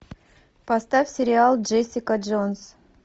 поставь сериал джессика джонс